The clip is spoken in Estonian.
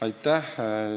Aitäh!